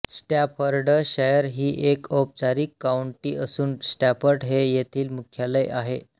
Staffordshire ही एक औपचारिक काउंटी असून स्टॅफर्ड हे येथील मुख्यालय आहे